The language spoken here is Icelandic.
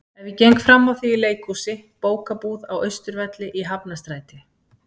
Ef ég geng frammá þig í leikhúsi, bókabúð, á Austurvelli, í Hafnarstræti.